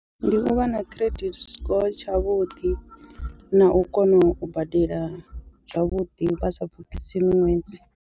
Ndi u vha na credit score tshavhuḓi na u kona u badela zwavhuḓi vha sa pfhukhisi miṅwedzi.